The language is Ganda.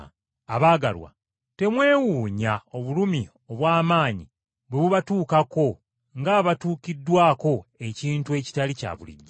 Abaagalwa, temwewuunya obulumi obw’amaanyi bwe bubatuukako ng’abatuukiddwako ekintu ekitali kya bulijjo.